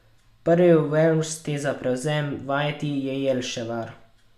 Prvi v vrsti za prevzem vajeti je Jelševar.